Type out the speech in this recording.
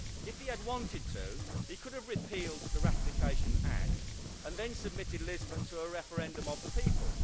If he had wanted to, he could have repealed the ratification act and then submitted Lisbon to a referendum of the people.